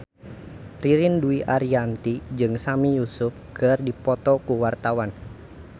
Ririn Dwi Ariyanti jeung Sami Yusuf keur dipoto ku wartawan